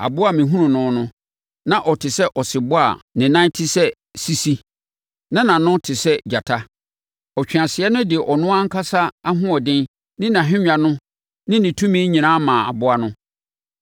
Aboa a mehunuu no no, na ɔte sɛ ɔsebɔ a ne nan te sɛ sisi, na nʼano nso te sɛ gyata. Ɔtweaseɛ no de ɔno ankasa ahoɔden ne nʼahennwa ne ne tumi nyinaa maa aboa no.